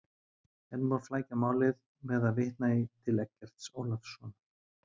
Enn má flækja málið með að vitna til Eggerts Ólafssonar.